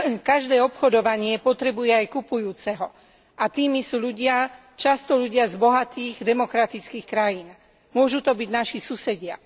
Každé obchodovanie potrebuje aj kupujúceho a tými sú ľudia často z bohatých demokratických krajín, môžu to byť naši susedia.